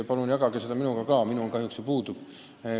Palun jagage seda minuga ka, minul kahjuks see puudub.